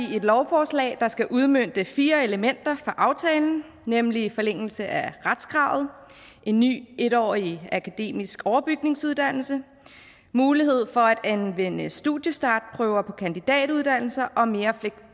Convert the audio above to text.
vi et lovforslag der skal udmønte fire elementer fra aftalen nemlig forlængelse af retskravet en ny en årig akademisk overbygningsuddannelse mulighed for at anvende studiestartprøver på kandidatuddannelser og mere